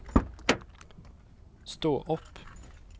stå opp